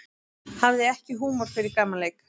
Hafði ekki húmor fyrir gamanleik